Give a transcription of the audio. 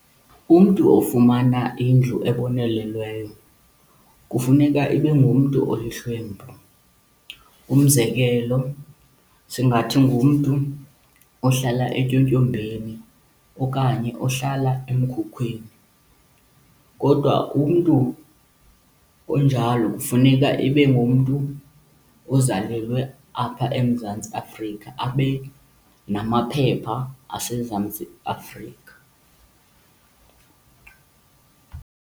Umntu ofumana indlu ebonelelweyo kufuneka ibe ngumntu olihlwempu. Umzekelo, singathi ngumntu ohlala etyotyombeni okanye ohlala emkhukwini. Kodwa umntu onjalo kufuneka ibe ngumntu ozalelwe apha eMzantsi Afrika, abe namaphepha aseMzantsi Afrika.